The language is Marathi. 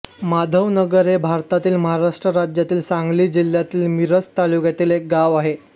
माधवनगर हे भारतातील महाराष्ट्र राज्यातील सांगली जिल्ह्यातील मिरज तालुक्यातील एक गाव आहे